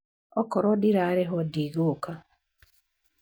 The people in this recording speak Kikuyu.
Okorwo ndirarĩhwo ndigũka.